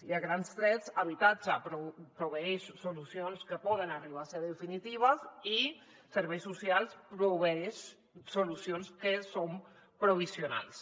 i a grans trets habitatge proveeix solucions que poden arribar a ser definitives i serveis socials proveeix solucions que són provisionals